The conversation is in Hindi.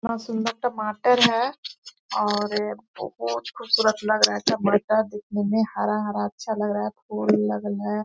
कितना सुन्दर टमाटर है और यह बहोत खुबसूरत लग रहा है टमाटर देखने में हरा-हरा अच्छा लग रहा है है।